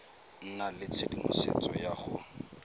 nna le tshedimosetso ya go